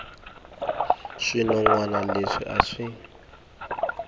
swinon wana leswi a swi